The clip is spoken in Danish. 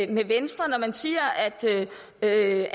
med venstre når man siger at øget